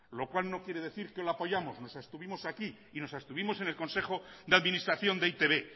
lo cual no quiere decir que lo apoyamos nos abstuvimos aquí y nos abstuvimos en le consejo de administración de e i te be